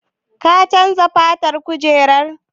Ka chanza fatan kujerar?